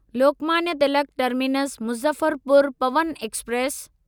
Lokmanya Tilak terminus Muzaffarpur Pawan express